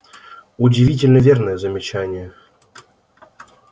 удивительно верное замечание